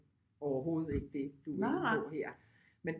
Overhovedet ikke det du er inde på her men